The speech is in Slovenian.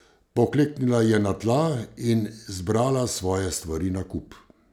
Pokleknila je na tla in zbrala svoje stvari na kup.